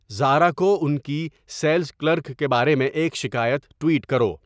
زارا کو ان کی سیلز کلرک کے بارے میں ایک شکایت ٹویٹ کرو